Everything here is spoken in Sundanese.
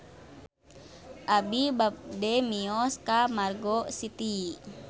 Abi bade mios ka Margo City